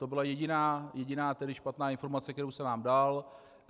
To byla jediná špatná informace, kterou jsem vám dal.